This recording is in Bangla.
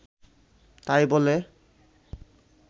তাই বলে